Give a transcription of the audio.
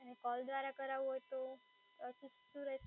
અને કૉલ દ્વારા કરાઉ હોય તો